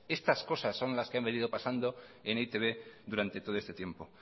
estas cosas son las que ha venido pasando en e i te be durante todo este tiempo